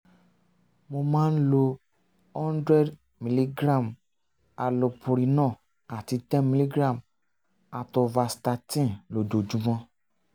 mo máa ń um lo hundred milligram allopurinol àti ten milligram atorvastatin lójoojúmọ́